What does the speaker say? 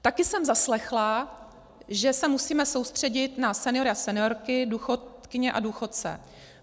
Také jsem zaslechla, že se musíme soustředit na seniory a seniorky, důchodkyně a důchodce.